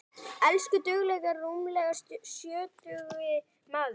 Elsku duglegi rúmlega sjötugi maður.